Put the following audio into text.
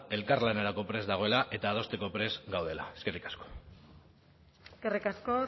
elkarlanerako prest dagoela eta adosteko prest gaudela eskerrik asko eskerrik asko